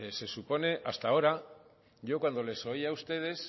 pues se supone hasta ahora yo cuando les oía a ustedes